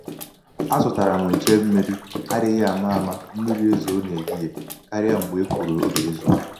a zụtara m nche um mmiri adịghị ama ama mmiri ezoo n'ehihie karịa mgbe e kwuru ọ ga-ezo.